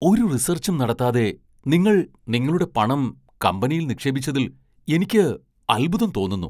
ഒരു റിസർച്ചും നടത്താതെ നിങ്ങൾ നിങ്ങളുടെ പണം കമ്പനിയിൽ നിക്ഷേപിച്ചതിൽ എനിക്ക് അത്ഭുതം തോന്നുന്നു.